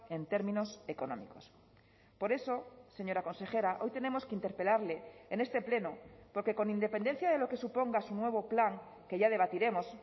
en términos económicos por eso señora consejera hoy tenemos que interpelarle en este pleno porque con independencia de lo que suponga su nuevo plan que ya debatiremos